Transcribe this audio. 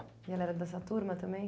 E ela era dessa turma também?